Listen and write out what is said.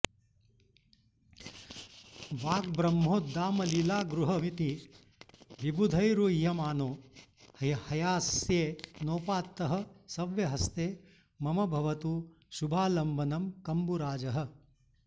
वाग्ब्रह्मोद्दामलीलागृहमिति विबुधैरूह्यमानो हयास्ये नोपात्तः सव्यहस्ते मम भवतु शुभालम्बनं कम्बुराजः